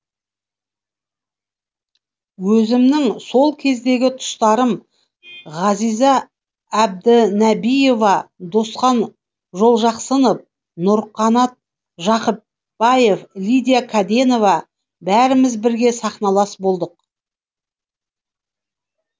өзімнің сол кездегі тұстастарым ғазиза әбдінәбиева досхан жолжақсынов нұрғанат жақыпбаев лидия кәденова бәріміз бірге сахналас болдық